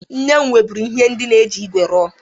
Nne m nweburu ihe ndịna e ji igwe rụọ.